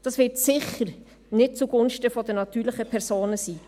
Dies wird bestimmt nicht zugunsten der natürlichen Personen sein.